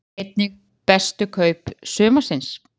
Sjá einnig: Bestu kaup sumarsins?